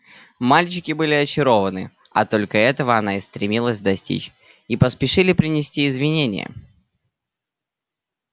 мальчики были очарованы а только этого она и стремилась достичь и поспешили принести извинения